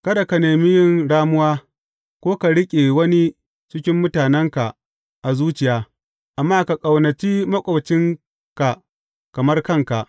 Kada ka nemi yin ramuwa, ko ka riƙe wani cikin mutanenka a zuciya, amma ka ƙaunaci maƙwabcinka kamar kanka.